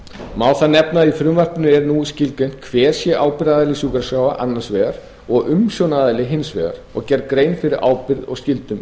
má þar nefna að í frumvarpinu er nú skilgreint hver sé ábyrgðaraðili sjúkraskráa annars vegar og umsjónaraðili hins vegar og gerð grein fyrir ábyrgð og skyldum